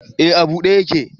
Eh a bude yake